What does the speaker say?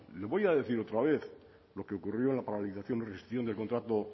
le voy a decir otra vez lo que ocurrió en la paralización de la rescisión del contrato